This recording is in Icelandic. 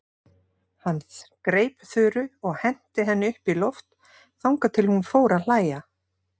Hún greip Þuru og henti henni upp í loft þangað til hún fór að hlæja.